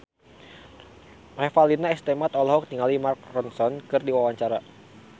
Revalina S. Temat olohok ningali Mark Ronson keur diwawancara